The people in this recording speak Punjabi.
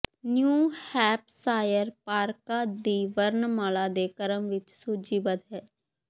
ਨਿਊ ਹੈਪਸ਼ਾਇਰ ਪਾਰਕਾਂ ਦੀ ਵਰਣਮਾਲਾ ਦੇ ਕ੍ਰਮ ਵਿੱਚ ਸੂਚੀਬੱਧ ਹੈ